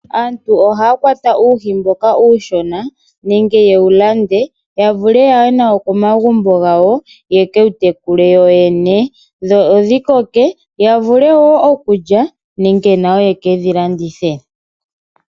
Aantu oha kwata uuhi mboka uushona nenge yewu lande ya vule yaye nawo komagumbo gawo yekewu tekule yoyene dho odhi koke yavule wo okulya nenge nayo yekedhi landithe.